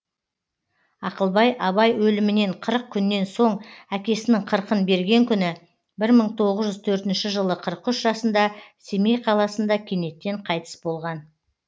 ақылбай абай өлімінен қырық күннен соң әкесінің қырқын берген күні бір мың тоғыз жүз төртінші жылы қырық үш жасында семей қаласында кенеттен қайтыс болған